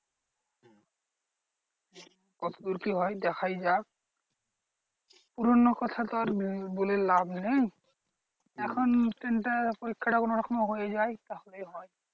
কতদূর কি হয় দেখায় যাক। পুরোনো কথা তো আর বলে লাভ নেই। এখন তিনটে পরীক্ষা টা কোনোরকমে হয়ে যায় তাহলেই হয়।